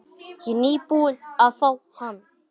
Ég er nýbúinn að fá hann.